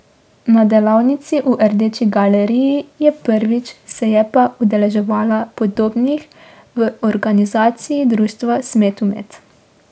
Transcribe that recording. Na delavnici v Rdeči galeriji je prvič, se je pa udeleževala podobnih v organizaciji društva Smetumet.